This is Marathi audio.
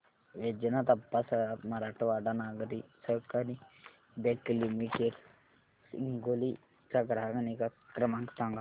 वैजनाथ अप्पा सराफ मराठवाडा नागरी सहकारी बँक लिमिटेड हिंगोली चा ग्राहक निगा क्रमांक सांगा